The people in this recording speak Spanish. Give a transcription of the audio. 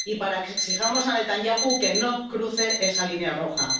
Y para que exijamos a Netanyahu que no cruce esa línea roja.